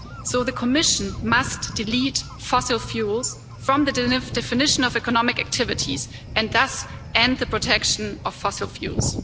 So the Commission must delete fossil fuels from the definition of economic activities and thus end the protection of fossil fuels.